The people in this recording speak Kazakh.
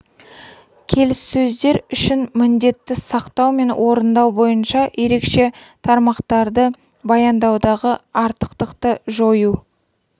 келіссөздер үшін міндетті сақтау мен орындау бойынша ерекше тармақтарды баяндаудағы артықтықты жою